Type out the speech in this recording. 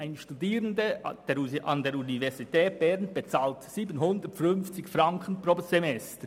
Ein Studierender an der Universität Bern bezahlt 750 Franken pro Semester.